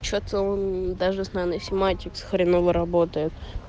что-то он даже с нано сематикс хреново работает